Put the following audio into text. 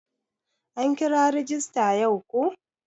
An kira rajista yau ko?